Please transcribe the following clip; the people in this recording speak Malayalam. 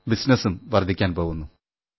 ബിസിനസ്സും വർധിക്കുവാൻ പോകുന്നു